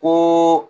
Ko